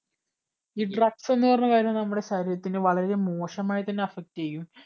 ഈ drugs എന്ന് പറയുന്ന കാര്യം നമ്മുടെ ശരീരത്തിനെ വളരെ മോശമായിട്ട് തന്നെ effect ചെയ്യും